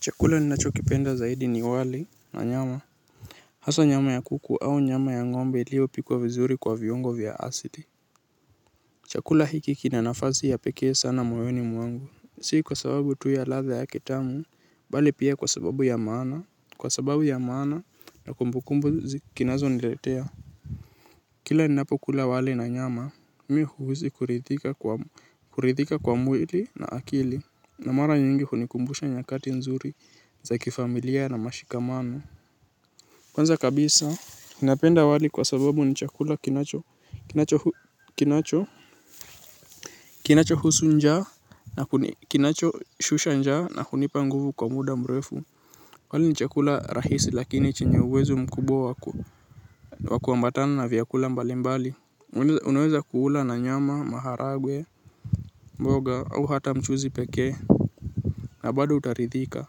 Chakula ninacho kipenda zaidi ni wali na nyama. Hasa nyama ya kuku au nyama ya ngombe iliyo pikwa vizuri kwa viungo vya asili. Chakula hiki kinanafasi ya pekee sana moyoni mwangu. Si kwa sababu tu ya ladha yake tamu. Bali pia kwa sababu ya maana. Kwa sababu ya maana na kumbukumbu kinazo niletea. Kila ninapo kula wali na nyama. Mimi huhisi kuridhika kwa mwili na akili. Na mara nyingi hunikumbusha nyakati nzuri za kifamilia na mashikamano kwanza kabisa napenda wali kwa sababu ni chakula kinacho kinacho husu njaa kinacho shusha njaa na kunipa nguvu kwa muda mrefu. Wali ni chakula rahisi lakini chenye uwezu mkubwa wa kuambatana na vyakula mbalimbali. Unaweza kuula na nyama, maharagwe, mboga au hata mchuzi peke. Na bado utaridhika.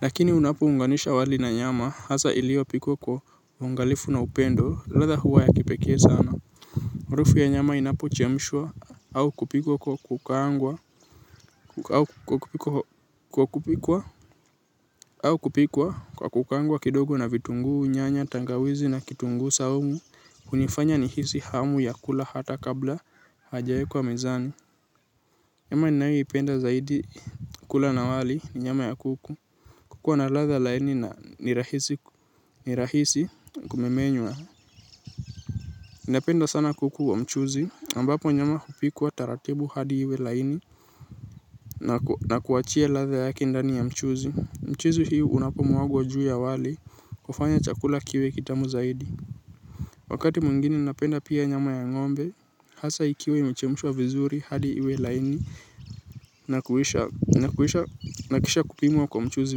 Lakini unapounganisha wali na nyama hasa iliyo pikwa kwa uangalifu na upendo ladha huwa ya kipekee sana. Rufu ya nyama inapu chemishwa au kupikwa kwa kukangwa kidogo na vitungu unyanya tangawizi na kitungu saumu. Hunifanya nihisi hamu ya kula hata kabla haijawekwa mezani. Nyama ninayoipenda zaidi kula na wali ni nyama ya kuku. Kuku ana ladha laini na ni rahisi kumemenywa. Napenda sana kuku wa mchuzi ambapo nyama hupikwa taratibu hadi iwe laini na kuachia ladha yake ndani ya mchuzi. Mchuzi hii unapo mwagwa juu ya wali hufanya chakula kiwe kitamu zaidi. Wakati mwingini napenda pia nyama ya ngombe hasa ikiwa imechemshwa vizuri hadi iwe laini na kisha kupimwa kwa mchuzi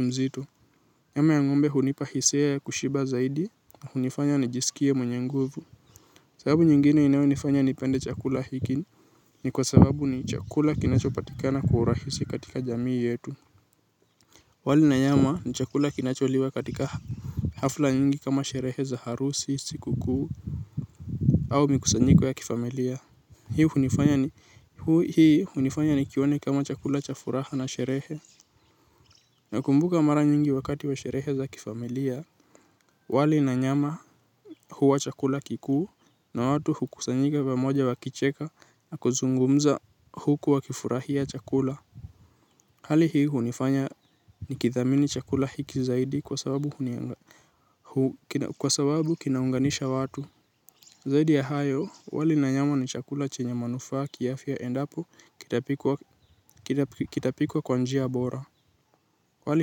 mzito. Nyama ya ngombe hunipa hisia ya kushiba zaidi na hunifanya nijisikie mwenye nguvu. Sababu nyingine inayo nifanya nipende chakula hiki ni kwa sababu ni chakula kinacho patikana kwa urahisi katika jamii yetu. Wali na nyama ni chakula kinacho liwa katika hafla nyingi kama sherehe za harusi, sikuku, au mikusanyiko ya kifamilia. Hii hunifanya nikione kama chakula cha furaha na sherehe. Na kumbuka mara nyingi wakati wa sherehe za kifamilia. Wali na nyama huwa chakula kikuu na watu hukusanyika pamoja wa kicheka na kuzungumza huku wakifurahia chakula. Hali hii hunifanya nikithamini chakula hiki zaidi kwa sababu kinaunganisha watu. Zaidi ya hayo wali na nyama ni chakula chenye manufaa kiafya endapo kitapikwa kwa njia mboea. Wali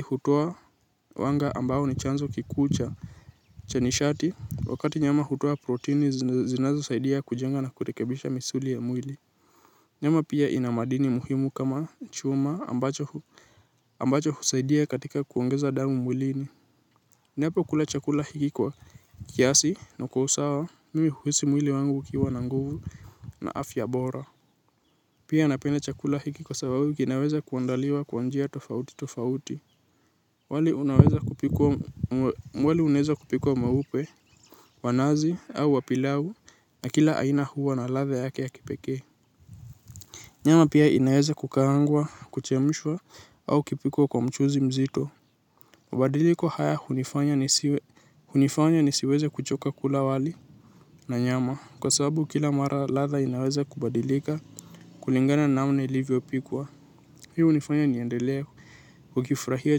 hutoa wanga ambao ni chanzo kikuu cha nishati wakati nyama hutoa proteini zinazo saidia kujenga na kurekebisha misuli ya mwili. Nyama pia ina madini muhimu kama chuma ambacho husaidia katika kuongeza damu mwilini. Ninapo kula chakula hiki kwa kiasi na kwa usawa mimi huhisi mwili wangu ukiwa na nguvu na afya bora. Pia napenda chakula hiki kwa sababu kinaweza kuandaliwa kwa njia tofauti tofauti wali unaweza kupikwa mweupe wa nazi au wa pilau na kila aina huwa na ladha yake ya kipeke nyama pia inaweza kukaangwa kuchemshwa au kipikwa kwa mchuzi mzito mabadiliko haya hunifanya nisiweza kuchoka kula wali na nyama kwa sababu kila mara ladha inaweza kubadilika kulingana namna ilivyo pikwa hii hunifanya niendelee ukifurahia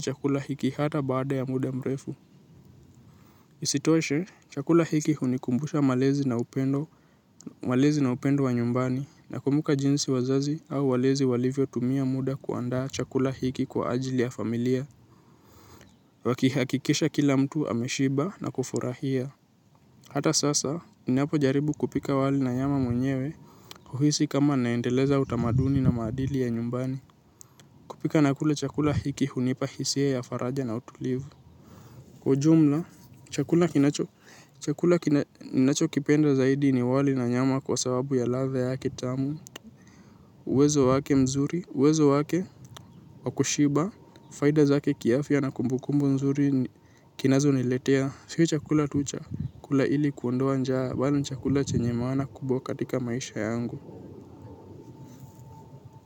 chakula hiki hata baada ya muda mrefu. Isitoshe, chakula hiki hunikumbusha malezi na upendo wa nyumbani. Na kumbuka jinsi wazazi au walezi walivyo tumia muda kuandaa chakula hiki kwa ajili ya familia. Wakihakikisha kila mtu ameshiba na kufurahia. Hata sasa, ninapo jaribu kupika wali na nyama mwenyewe huhisi kama naendeleza utamaduni na maadili ya nyumbani. Kupika na kula chakula hiki hunipa hisia ya faraja na utulivu kwa ujumla chakula kinacho chakula ninacho kipenda zaidi ni wali na nyama kwa sababu ya ladha yake tamu uwezo wake mzuri uwezo wake wa kushiba fedha zake kiafya na kumbukumbu nzuri kinacho niletea siku chakula tucha kula hili kuondoa njaa bala chakula chenye mawana kubo katika maisha yangu. Kwa hivyo.